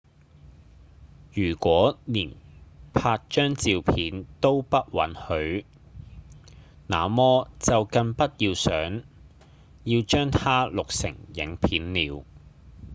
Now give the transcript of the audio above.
如果連拍張照片都不被允許那麼就更不要想要將它錄成影片了